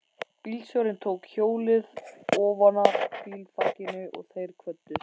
Bílstjórinn tók hjólið ofanaf bílþakinu og þeir kvöddust.